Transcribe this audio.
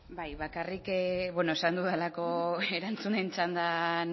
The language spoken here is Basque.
bai bakarrik esan dudalako erantzunen txandan